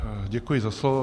Děkuji za slovo.